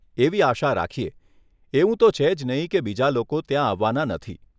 એવી આશા રાખીએ, એવું તો છે જ નહીં કે બીજા લોકો ત્યાં આવવાના નથી.